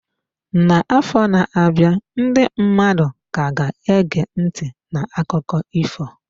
N'afọ na-abịa, ndị mmadụ ka ga-ege ntị n'akụkọ ifo.